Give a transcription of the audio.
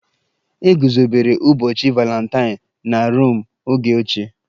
E guzobere ụbọchị Valentine na Rom oge ochie